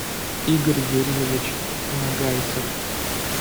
игорь юрьевич нагайцев